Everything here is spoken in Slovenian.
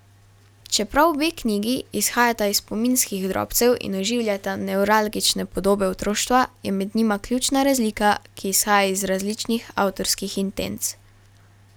Čeprav obe knjigi izhajata iz spominskih drobcev in oživljata nevralgične podobe otroštva, je med njima ključna razlika, ki izhaja iz različnih avtorskih intenc.